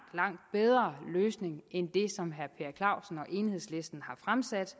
bedre løsning end det som herre per clausen og enhedslisten har fremsat